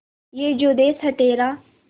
ये जो देस है तेरा